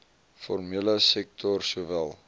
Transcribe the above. formele sektor sowel